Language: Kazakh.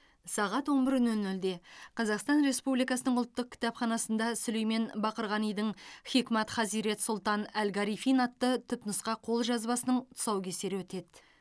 сағат он бір нөл нөлде қазақстан республикасының ұлттық кітапханасында сүлеймен бақырғанидің хикмат хазирет сұлтан әл гарифин атты түпнұсқа қолжазбасының тұсаукесері өтеді